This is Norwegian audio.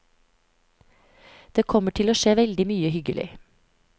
Det kommer til å skje veldig mye hyggelig.